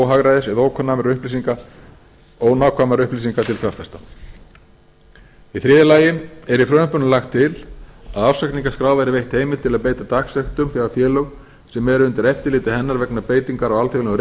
óhagræðis eða ónákvæmra upplýsinga til fjárfesta í þriðja lagi er í frumvarpinu lagt til að ársreikningaskrá verði veitt heimild til að beita dagsektum þegar félög sem eru undir eftirliti hennar vegna beitingar á alþjóðlegum